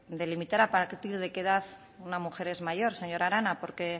de limitar a partir de qué edad una mujer es mayor señora arana porque